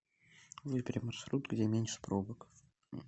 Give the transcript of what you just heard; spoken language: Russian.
выбери маршрут где меньше пробок